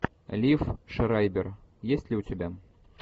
лив шрайбер есть ли у тебя